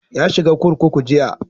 Ya shiga kurkuku jiya.